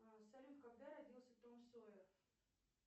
салют когда родился том сойер